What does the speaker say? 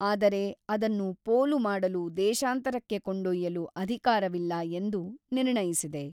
ಆದರೆ ಅದನ್ನು ಪೋಲು ಮಾಡಲು ದೇಶಾಂತರಕ್ಕೆ ಕೊಂಡೊಯ್ಯಲು ಅಧಿಕಾರವಿಲ್ಲ ಎಂದು ನಿರ್ಣಯಿಸಿದೆ.